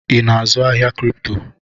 Ị na-azụ ahịa kripto?